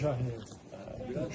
Qarabağ Şahidi